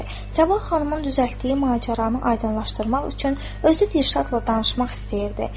Sabah xanımın düzəltdiyi macəranı aydınlaşdırmaq üçün özü Dirşadla danışmaq istəyirdi.